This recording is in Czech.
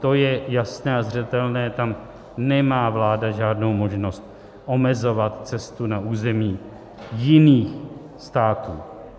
To je jasné a zřetelné, tam nemá vláda žádnou možnost omezovat cestu na území jiných států.